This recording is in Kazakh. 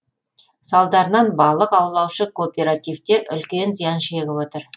салдарынан балық аулаушы кооперативтер үлкен зиян шегіп отыр